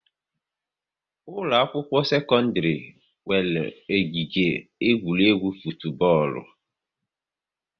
Ụlọ akwụkwọ sekọndrị nwere ogige egwuregwu futubọọlụ